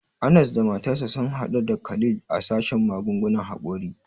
Anas da matarsa sun hadu da Khalil a sashen magungunan hakori.